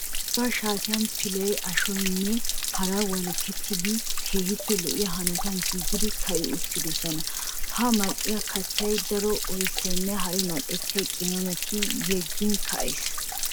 Aaho shaatiyan pilay ashoynne hara walakettidabatti keehippe lo'iya hanotan giigidi ka'i uttidosonna. Ha mal'iya kattay daro oyssanne hara mal'ettiya qimaametta yeggin ka'ees.